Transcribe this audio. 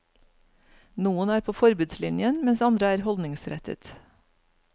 Noen er på forbudslinjen, mens andre er holdningsrettet.